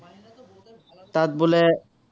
তাত বোলে